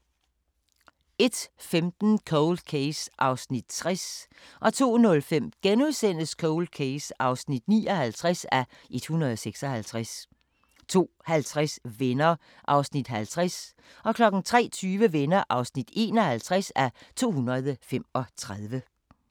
01:15: Cold Case (60:156) 02:05: Cold Case (59:156)* 02:50: Venner (50:235) 03:20: Venner (51:235)